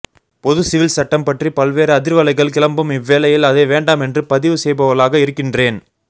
பொது சிவில் சட்டம் பற்றி பல்வேறு அதிர்வலைகள் கிளம்பும் இவ்வேளையில் அதை வேண்டாம் என்று பதிவு செய்பவளாக இருக்கின்றேன்